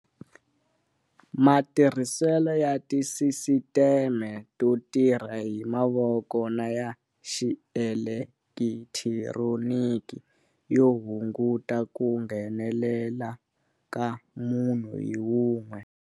Matirhiselo ya tisisiteme to tirha hi mavoko na ya xielekithironiki yo hunguta ku nghenele la ka munhu hi wun'we.